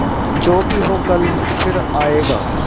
जो भी हो कल फिर आएगा